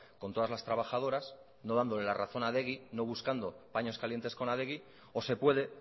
con todas las trabajadoras no dándole la razón a adegi no buscando paños calientes con adegi o se puede